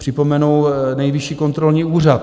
Připomenu Nejvyšší kontrolní úřad.